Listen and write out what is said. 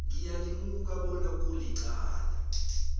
ngiyalimuka bona kulicala